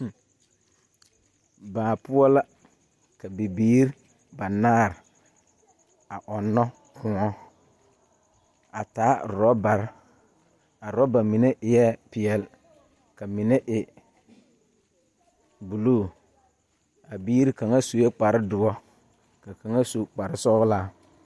Baa poɔ la ka bibiiri banaare are a ɔnnɔ kõɔ, a taa orɔbare. A orɔba mine eɛ peɛle ka mine e buluu. A biiri kaŋa sue kpare doɔ. Ka kaŋa su kpare sɔgelaa.